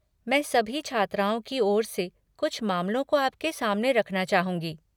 मैं सभी छात्राओं की और से कुछ मामलों को आपके सामने रखना चाहूँगी।